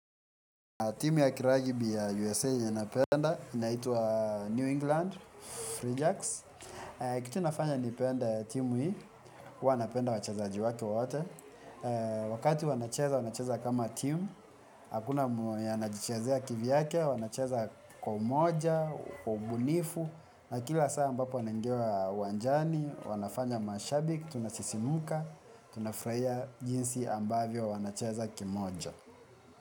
Timu ya kiragbi ya USA yenye napenda, inaitwa New England, FreeJax. Kitu nafanya nipende timu hii, huwa napenda wachazaji wake wote. Wakati wanacheza, wanacheza kama timu, hakuna mwenye anajichezea kivyake, wanacheza kwa umoja, kwa ubunifu, na kila saa ambapo wanangia uwanjani, wanafanya mashabiki, tunasisimuka, tunafurahia jinsi ambavyo wanacheza kimoja.